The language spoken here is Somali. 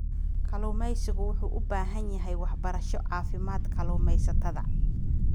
Kalluumaysigu wuxuu u baahan yahay waxbarasho caafimaad kalluumaysatada.